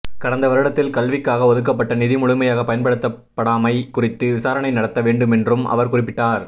கடந்த வருடத்தில் கல்விக்காக ஒதுக்கப்பட்ட நிதி முழுமையாக பயன்படுத்தப்படாமை குறித்து விசாரணை நடத்த வேண்டுமென்றும் அவர் குறிப்பிட்டார்